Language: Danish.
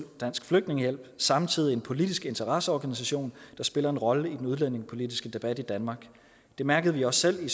dansk flygtningehjælp samtidig en politisk interesseorganisation der spiller en rolle i den udlændingepolitiske debat i danmark det mærkede vi også selv i